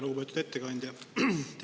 Lugupeetud ettekandja!